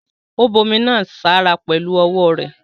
Ó bu omi náà sára pẹ̀lu ọwọ́ rẹ̀.